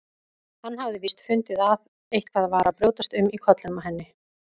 Hann hafði víst fundið að eitthvað var að brjótast um í kollinum á henni.